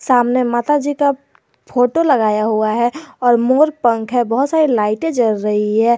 सामने माता जी का फोटो लगाया हुआ है और मोर पंख है बहुत सारी लाइटे जल रही है।